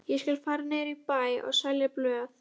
Ég skal fara niður í bæ og selja blöð.